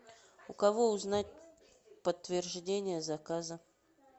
у кого узнать подтверждение заказа